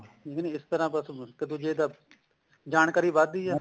ਠੀਕ ਆ ਜੀ ਇਸ ਤਰ੍ਹਾਂ ਬੱਸ ਜਾਣਕਾਰੀ ਵਧਦੀ ਆ